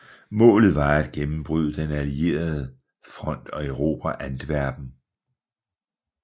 Målet var at gennembryde den allierede front og erobre Antwerpen